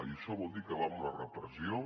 i això vol dir acabar amb la repressió